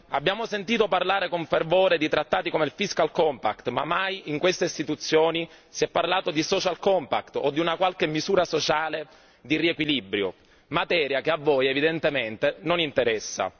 Abbiamo sentito parlare con fervore di trattati come il Fiscal Compact ma mai in queste istituzioni si è parlato di Social Compact o di una qualche misura sociale di riequilibrio, materia che a voi evidentemente non interessa.